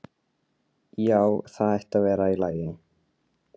Já, það ætti að vera í lagi.